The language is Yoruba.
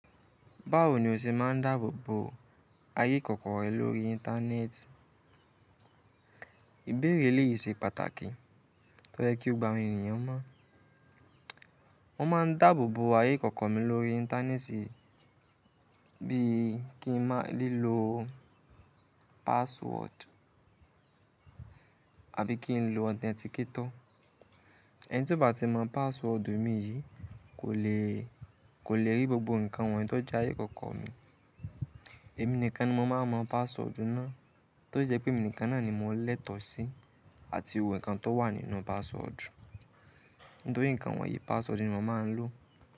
Báwo ni o ṣe máa n dáàbò bo ayé kọ̀ọ̀kan rẹ lórí Íńtánẹ́ẹ̀tì? Ìbéèrè yìí ṣe pàtàkì tó jẹ́ kí o gbógbó àwọn ènìyàn mọ̀. Mo máa n dáàbò bo ayé kọ̀ọ̀kan mi lórí Íńtánẹ́ẹ̀tì bí i kí n máa lè lo password àbí kí n lo authenticator. Ẹni tí kò bá ti mọ password mi yìí kò lè, kò lè rí gbógbó nǹkan wọ̀nyí tó jẹ́ ayé kọ̀ọ̀kan mi. Èmi nìkan ni mo máa n mọ password náà tó jẹ́ pé mi nìkan náà ni mo lẹ́tọ̀ọ́ sí àti ohun nǹkan tó wà nínú password. Nítorí nǹkan wọ̀nyí password ni mo máa n lò.